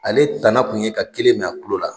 Ale tana kun ye ka kelen mɛn a kulo la